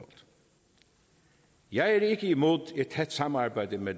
jeg er ikke imod et tæt samarbejde med